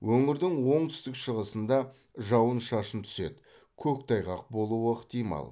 өңірдің оңтүстік шығысыңда жауын шашын түседі көктайғақ болуы ықтимал